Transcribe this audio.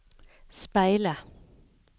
speile